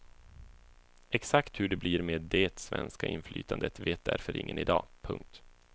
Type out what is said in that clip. Exakt hur det blir med det svenska inflytandet vet därför ingen i dag. punkt